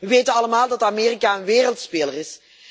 We weten allemaal dat Amerika een wereldspeler is.